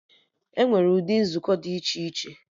Enwere ụdị nzukọ dị iche iche